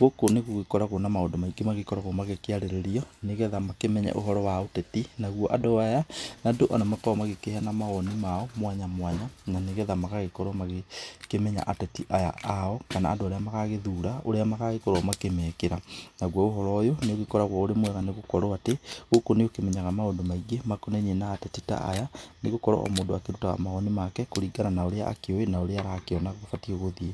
gũkũ nĩ gũgikũragwo na maũndũ maĩngĩ magikoragwo magikĩĩarĩrĩo nĩgetha makĩmenye ũhoro wa ũteti nagũo andũ aya, ni andũ arĩa makoragwo magĩkĩheana mawoni mao mwanya mwanya na nĩgetha magĩgokorwo makĩmenya ateti aya ao, kana andũ arĩa magagĩthũra ũrĩa magagĩkorwo makĩmekĩra. Nagũo ũhoro ũyũ nĩ ũgĩkoragwo ũrĩ mwega nĩ gũkurwo atĩ, gũkũ nĩ ũkĩmenyaga maũndũ maĩngĩ makonaĩnĩi na atetĩ ta aya nĩ gũkũrwo o mũndu akĩrũtaga mawoni make kũrĩngana na urĩa akĩũĩ na ũrĩa arakĩona kubatĩe gũthíĩ.